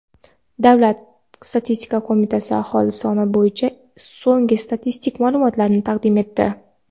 Davlat statistika qo‘mitasi aholi soni bo‘yicha so‘nggi statistik ma’lumotlarni taqdim etdi.